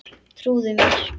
Trúðu mér.